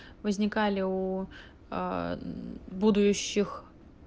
возникали у ааа будущих